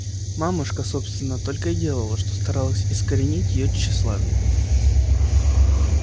мамушка собственно только и делала что старалась искоренить её тщеславие